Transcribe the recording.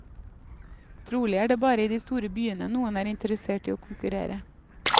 Trolig er det bare i de store byene noen er interessert i å konkurrere.